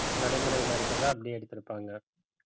நடைமுறையில இருக்கிறத்தை அப்படியே எடுத்திருப்பாங்க